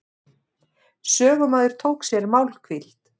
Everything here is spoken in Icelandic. Sögumaður tók sér málhvíld.